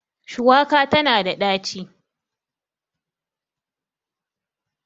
shuwaka tana da daci